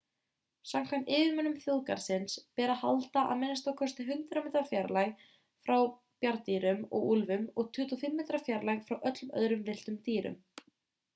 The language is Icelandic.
samkvæmt yfirmönnum þjóðgarðsins ber að halda a.m.k. 100 metra fjarlægð frá bjarndýrum og úlfum og 25 metra fjarlægð frá öllum öðrum villtum dýrum